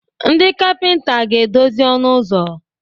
Ndị kapịnta ga-edozi ọnụ ụzọ.